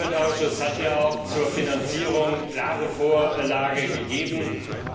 Und der Umweltausschuss hat ja auch zur Finanzierung klare Vorgabe gemacht.